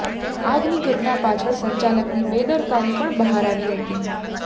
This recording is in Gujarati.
આગની ઘટના પાછળ સંચાલકની બેદરકારી પણ બહાર આવી હતી